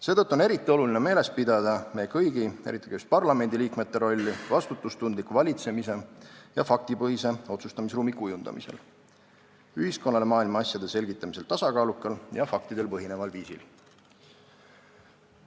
Seetõttu on eriti oluline meeles pidada meie kõigi, eriti aga just parlamendi liikmete rolli vastutustundliku valitsemise ja faktipõhise otsustamisruumi kujundamisel – ühiskonnale maailma asjade selgitamisel tasakaalukal ja faktidel põhineval viisil.